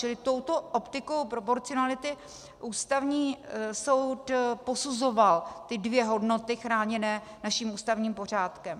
Čili touto optikou proporcionality Ústavní soud posuzoval ty dvě hodnoty chráněné našim ústavním pořádkem.